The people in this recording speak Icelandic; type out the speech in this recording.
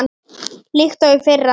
líkt og í fyrra.